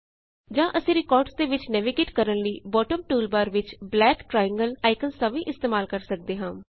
ਜਾਂ ਅਸੀਂ ਰਿਕਾਰਡਸ ਦੇ ਵਿਚ ਨੈਵੀਗੇਟ ਕਰਨ ਲਈ ਬੌਟਮ ਟੂਲਬਾਰ ਵਿਚ ਬਲੈਕ ਟ੍ਰਾਏਨਗਲ ਆਇਕਨਜ਼ ਦਾ ਵੀ ਇਸਤੇਮਾਲ ਕਰ ਸਕਦੇ ਹਾਂ